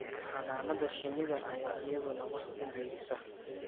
Xannaanada shinnida ayaa iyaduna wax ku biirisa